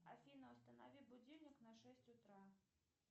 афина установи будильник на шесть утра